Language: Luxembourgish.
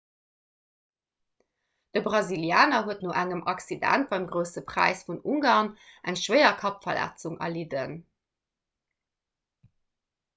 de brasilianer huet no engem accident beim grousse präis vun ungarn eng schwéier kappverletzung erlidden